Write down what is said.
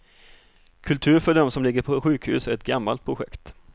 Kultur för dem som ligger på sjukhus är ett gammalt projekt.